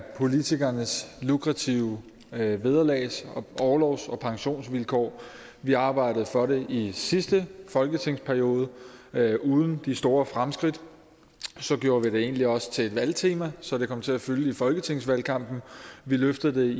politikernes lukrative vederlags orlovs og pensionsvilkår vi har arbejdet for det i sidste folketingsperiode uden de store fremskridt så gjorde vi det egentlig også til et valgtema så det kom til at fylde i folketingsvalgkampen vi løftede